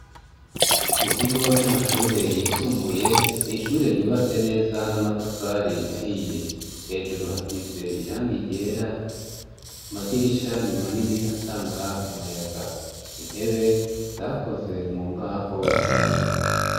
Mu kigo c'amashure yisumbuye ni ishure ryubatse neza n'amatafari ahiye hejuru hasize irangie yera amadirisha ni manini atanga umuyaga intebe zakoze mu mbaho z'ibiti.